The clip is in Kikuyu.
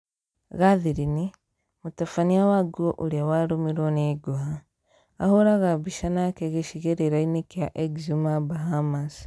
Gathirini: mũtabania wa nguo ũrĩa warũmirwo nĩ nguha. Ahũraga mbica nake gĩcigĩrĩra-inĩ kĩa Exuma, Bahamas.